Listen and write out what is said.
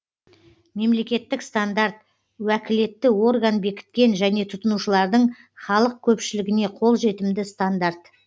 мемлекеттік стандарт уәкілетті орган бекіткен және тұтынушылардың халық көпшілігіне қолжетімді стандарт